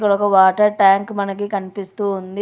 ఇక్కడ ఒక water tank మనకి కనిపిస్తూ ఉంది.